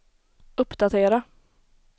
uppdatera